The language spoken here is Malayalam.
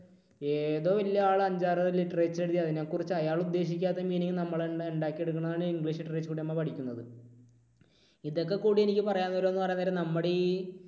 ഏതോ വലിയ ആൾ അഞ്ചാറ് literature എഴുതി അതിനെക്കുറിച്ച് അയാൾ ഉദ്ദേശിക്കാത്ത meaning നമ്മൾ തന്നെ ഉണ്ടാക്കി എടുക്കുന്നതാണ് English Literature കൂടെ നമ്മൾ പഠിക്കുന്നത്. ഇതൊക്കെ കൂടി എനിക്ക് പറയാൻ നേരം എന്നു പറയാൻ നേരം നമ്മുടെ ഈ